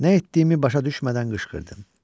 Nə etdiyimi başa düşmədən qışqırdım.